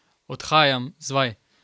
Odhajam z vaj.